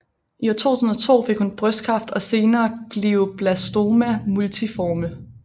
I 2002 fik hun brystkræft og senere Glioblastoma multiforme